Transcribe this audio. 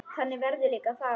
Þannig verður líka að fara.